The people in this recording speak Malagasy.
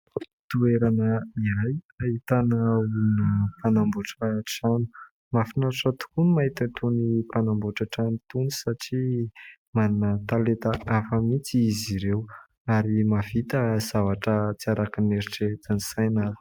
Toerana iray ahitana olona mpanamboatra trano. Mahafinaritra tokoa ny mahita itony mpanamboatra trano itony satria manan-talenta hafa mihitsy izy ireo, ary mahavita zavatra tsy araka ny eritreretin'ny saina.